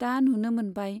दा नुनो मोनबाय।